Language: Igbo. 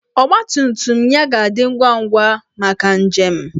Ọgbatumtum ya ga-adị ngwa ngwa maka njem.